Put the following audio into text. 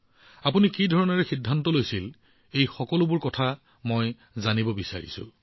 আপুনি যি ধৰণে সিদ্ধান্ত লৈছে মই ইয়াৰ বিষয়ে সম্পূৰ্ণৰূপে জানিব বিচাৰো